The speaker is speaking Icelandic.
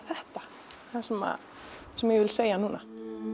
þetta sem sem ég vil segja núna